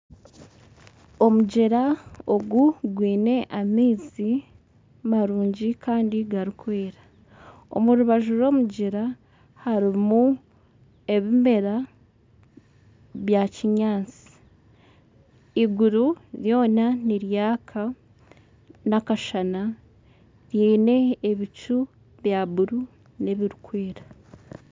Omugyera ogu gwine amaizi marungi kandi garikwera omurubaju rw'omugyera harimu ebimera bya kinyaatsi iguru ryoona niryaka n'akashana ryine ebicu bya buruu n'ebirikwera.